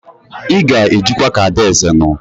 Ị ga-ejikwa ka adaeze nụ!